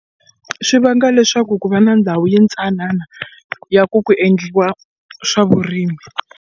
Swi vanga leswaku ku va na ndhawu yintsanana ya ku ku endliwa swa vurimi.